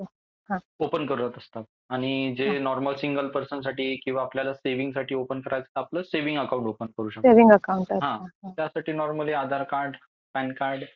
Open करत असतात आणि जे नॉर्मल सिंगल पर्सन साठी किंवा आपल्यला सेविंग साठी तर स्विंग अकाउंट ओपन करू शकतात. त्यासाठी normally Aadhaar card PAN card